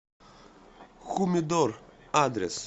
хумидор адрес